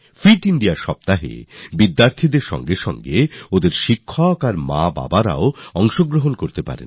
fit India সপ্তাহে ছাত্রছাত্রীদের পাশাপাশি তাদের শিক্ষক এবং অবিভাবকরাও অংশগ্রহণ করতে পারেন